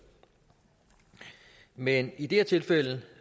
men i det her tilfælde